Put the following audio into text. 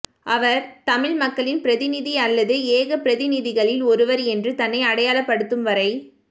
அவர் தமிழ் மக்களின் பிரதிநிதி அல்லது ஏக பிரதிநிதிகளில் ஒருவர் என்று தன்னை அடையாளப்படுத்தும்வரை